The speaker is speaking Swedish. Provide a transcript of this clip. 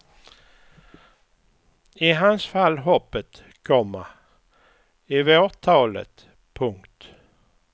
I hans fall hoppet, komma i vårt talet. punkt